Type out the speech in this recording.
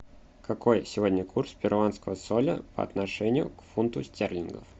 какой сегодня курс перуанского соля по отношению к фунту стерлингов